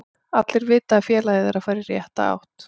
Allir vita að félagið er að fara í rétta átt.